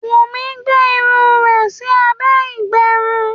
Wunmi gbé irun rẹ ẹ sí abé ìgbẹrun.